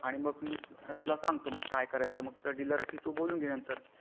आणि मग मी तुला सांगतो कसा करायचा तर मग तू डीलर शी बोलून घे नंतर.